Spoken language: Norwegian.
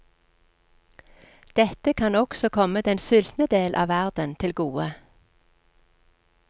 Dette kan også komme den sultne del av verden til gode.